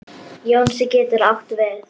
Jónsi getur átt við